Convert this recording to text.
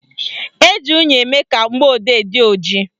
Eji unyi eme ka mgbọodee dị ojii